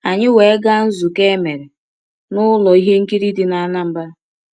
Anyị wee gaa nzụkọ emere n’ụlọ ihe nkiri dị n’Anambra.